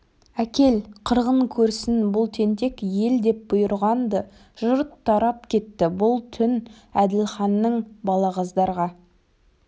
әкел қырғын көрсін бұл тентек ел деп бұйырған-ды жұрт тарап кетті бұл түн әділханның балағаздарға